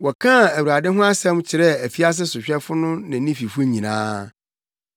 Wɔkaa Awurade ho asɛm kyerɛɛ afiase sohwɛfo no ne ne fifo nyinaa.